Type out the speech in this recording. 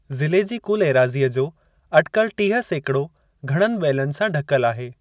ज़िले जी कुलु एराज़ीअ जो अटिकल टीह सेकड़ो घणनि ॿेलनि सां ढकेल आहे।